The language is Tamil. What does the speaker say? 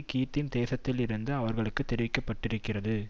கித்தீம் தேசத்திலிருந்து அவர்களுக்கு தெரிவிக்க படுகிறது